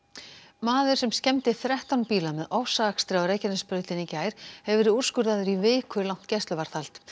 maður sem skemmdi þrettán bíla með ofsaakstri á Reykjanesbrautinni í gær hefur verið úrskurðaður í vikulangt gæsluvarðhald